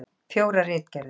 Fjórar ritgerðir.